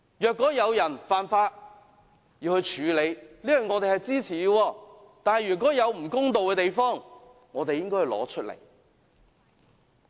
有人犯法便要處理，我們是支持的，但有不公道的地方，我們就應該拿出來討論。